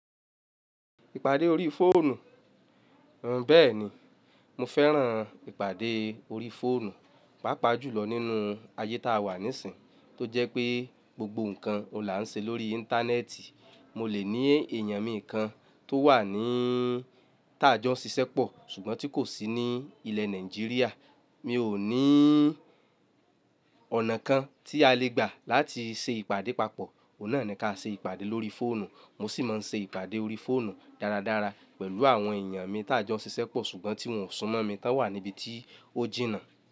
Ìpàdé orí fóònù. N̄ Bẹ́ẹ̀ni, mo fẹ́ràn ìpàdé orí fóònù, pàápàá jùlọ nínú ayé táa wà nísìínyi tó jẹ́ pé gbogbo ǹkan ọ̀la ǹ ṣe lórí íńtánẹ́ẹ̀tì. Mo lè ní èèyàn mi kan tó wà níí táa jọ́ ṣiṣẹ́ pọ̀, ṣùgbọ́n tí kò sí ní ilẹ̀ Nàìjíríà. Mi ò ní ọ̀nà kan tí a lè gbà láti ṣe ìpàdé papọ̀, ọ̀nà ǹí kà ṣe ìpàdé lórí fóònù. Mo sì máa ń ṣe ìpàdé orí fóònù dáradára pẹ̀lú àwọn èèyàn mi táa jọ́ ṣiṣẹ́ pọ̀ ṣùgbọ́n tí wọn ò súnmọ́ mi, tán wà níbi tí ó jìnnà.